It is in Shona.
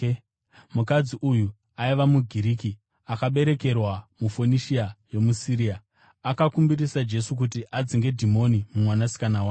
Mukadzi uyu aiva muGiriki, akaberekerwa muFonishia yomuSiria. Akakumbirisa Jesu kuti adzinge dhimoni mumwanasikana wake.